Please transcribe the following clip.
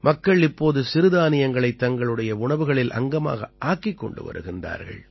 மக்கள் இப்போது சிறுதானியங்களைத் தங்களுடைய உணவுகளில் அங்கமாக ஆக்கிக் கொண்டு வருகின்றார்கள்